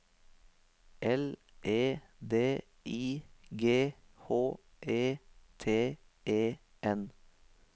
L E D I G H E T E N